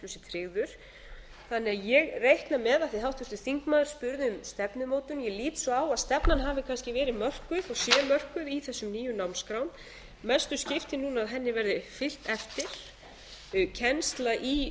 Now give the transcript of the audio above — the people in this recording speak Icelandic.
þannig að ég reikna með af því háttvirtur þingmaður spurði um stefnumótun ég lít svo á að stefnan hafi kannski verið mörkuð og sé mörkuð í þessum nýju námsskrám mestu skiptir núna að henni verði fylgt eftir kennsla í